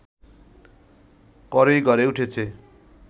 করেই গড়ে উঠেছে